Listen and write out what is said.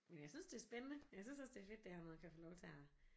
Men jeg synes det er spændende jeg synes også det er fedt det her med at kan få lov til at